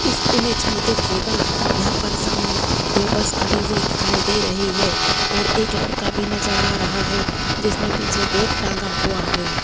इस इमेज में देखिएगा यहां पर सामने दो बस खड़ी हुई दिखाई दे रही हैं और एक लड़का भी नजर आ रहा हैं जिसने पीछे बैग टांगा हुआ हैं।